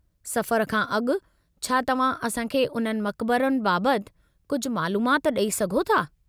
सफ़र खां अॻु, छा तव्हां असां खे उन्हनि मक़बरनि बाबति कुझु मालूमाति ॾई सघो था?